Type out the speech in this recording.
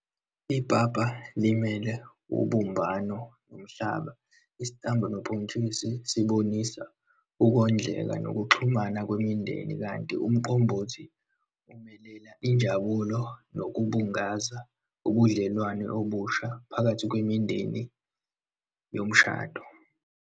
Ipapa limele ubumbano nomhlaba, isitambu nobhontshisi sibonisa ukhondleka nokuxhumana kwemindeni, kanti umqombothi umelela injabulo nokubungaza ubudlelwane obusha phakathi kwemindeni yomshado.